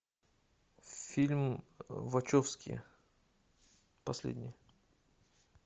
фильм вачовски последний